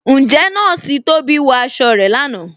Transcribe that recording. Ǹjẹ̀ Nọọ̀ṣì Tóbi wọ aṣọ̀ rẹ̀ láńà?